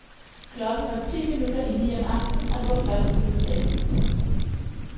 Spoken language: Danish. Klokken var ti minutter i ni om aftenen, og det var første juledag.